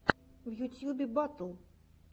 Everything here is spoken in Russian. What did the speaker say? в ютюбе батл